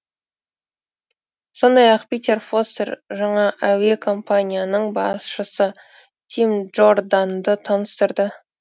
сондай ақ питер фостер жаңа әуе компанияның басшысы тим джорданды таныстырды